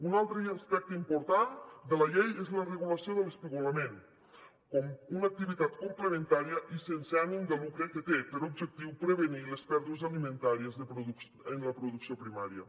un altre aspecte important de la llei és la regulació de l’espigolament com una activitat complementària i sense ànim de lucre que té per objectiu prevenir les pèrdues alimentàries en la producció primària